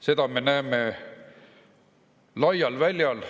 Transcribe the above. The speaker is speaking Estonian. Seda me näeme laial väljal.